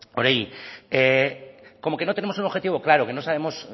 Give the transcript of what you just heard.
oregi como que no tenemos un objetivo claro que no sabemos